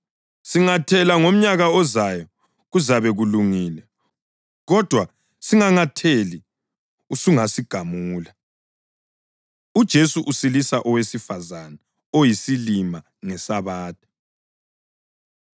Singathela ngomnyaka ozayo, kuzabe kulungile! Kodwa singangatheli, usungasigamula.’ ” UJesu Usilisa Owesifazane Oyisilima NgeSabatha